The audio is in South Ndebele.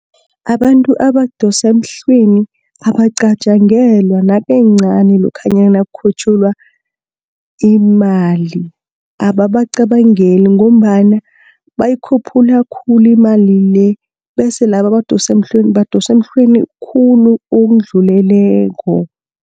Abantu abadosa emhlweni, abacatjangelwa nakancani lokhanyana kukhutjhulwa imali. Ababacabangeli ngombana bayikhuphula khulu imali le, bese laba abadosa emhlweni badosa emhlweni khulu okudluleleko.